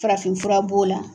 Farafinfura b'o la.